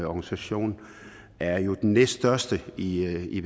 organisation er jo den næststørste i i